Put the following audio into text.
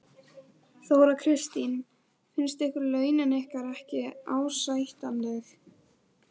Þóra Kristín: Finnst ykkur launin ykkar ekki ásættanleg?